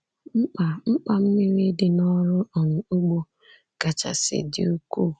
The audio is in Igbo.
Mkpa Mkpa mmiri dị n’ọrụ um ugbo kachasị dị ukwuu.